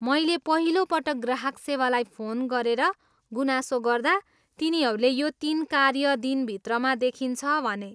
मैले पहिलो पटक ग्राहक सेवालाई फोन गरेर गुनासो गर्दा, तिनीहरूले यो तिन कार्य दिनभित्रमा देखिन्छ भने।